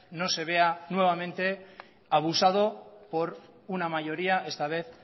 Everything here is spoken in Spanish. no se vea nuevamente abusado por una mayoría esta vez